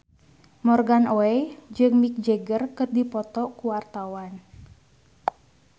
Morgan Oey jeung Mick Jagger keur dipoto ku wartawan